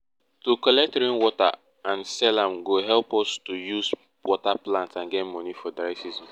to collect rain water and sell am go help to use water plants and get money for dry season